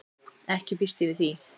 Ekki býst ég við því.